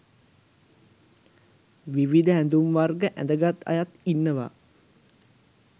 විවිධ ඇඳුම් වර්ග ඇඳගත් අයත් ඉන්නවා